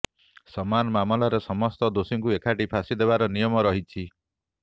ସମାନ ମାମଲାରେ ସମସ୍ତ ଦୋଷୀଙ୍କୁ ଏକାଠି ଫାଶୀ ଦେବାର ନିୟମ ରହିଛି